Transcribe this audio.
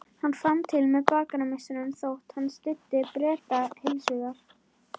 Hann fann til með bakarameistaranum þótt hann styddi Breta heilshugar.